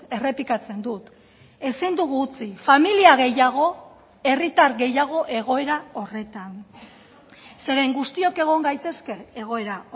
errepikatzen dut ezin dugu utzi familia gehiago herritar gehiago egoera horretan zeren guztiok egon gaitezke egoera